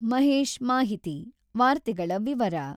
ಮಹೇಶ್ ಮಾಹಿತಿ, ವಾರ್ತೆಗಳ ವಿವರ